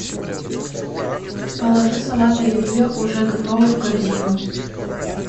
положи салат оливье уже готово в корзину